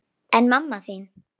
En mamma þín?